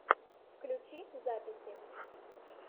включи записи